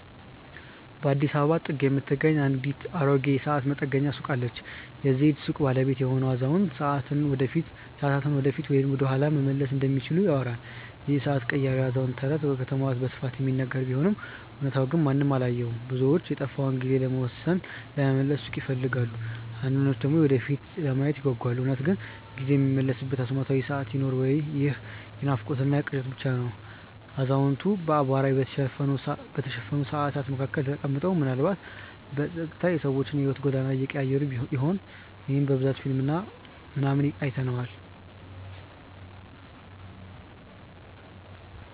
በአዲስ አበባ ጥግ የምትገኝ አንዲት አሮጌ የሰዓት መጠገኛ ሱቅ አለች። የዚህች ሱቅ ባለቤት የሆነው አዛውንት፣ ሰዓታትን ወደፊት ወይም ወደኋላ መመለስ እንደሚችሉ ይወራል ይህ የሰዓት ቀያሪው አዛውንት ተረት በከተማዋ በስፋት የሚነገር ቢሆንም እውነታው ግን ማንም አላየውም። ብዙዎች የጠፋውን ጊዜ ለመመለስ ሱቁን ይፈልጋሉ አንዳንዶች ደግሞ የወደፊቱን ለማየት ይጓጓሉ። እውነት ግን ጊዜ የሚመለስበት አስማታዊ ሰዓት ይኖር ወይ ይህ የናፍቆትና ቅዠት ብቻ ነው አዛውንቱ በአቧራ በተሸፈኑ ሰዓታት መካከል ተቀምጠው፣ ምናልባትም በጸጥታ የሰዎችን የሕይወት ጎዳና እየቀያየሩ ይሆን? ይህንን በብዛት በፊልም ምናምን አይተነዋል